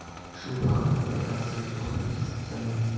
Shu haqida batafsil to‘xtalsangiz.